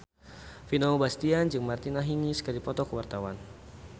Vino Bastian jeung Martina Hingis keur dipoto ku wartawan